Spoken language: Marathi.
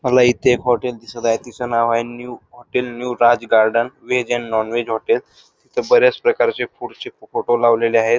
मला इथे एक हॉटेल दिसत आहे तिचं नाव आहे new hotel new Raj garden veg and non veg नोवेल्स तिथे बऱ्याच प्रकारचे फुडचे फोटो लावलेले आहेत.